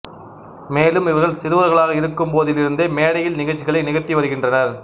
மேலும் இவர்கள் சிறுவர்களாக இருக்கும்போதிலிருந்தே மேடையில் நிகழ்ச்சிகளை நிகழ்த்தி வருகின்றனர்